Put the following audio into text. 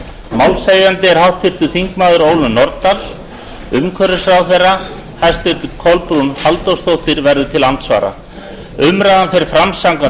málshefjandi er háttvirtir þingmenn ólöf nordal hæstvirtur umhverfisráðherra kolbrún halldórsdóttir verður til andsvara umræðan fer fram samkvæmt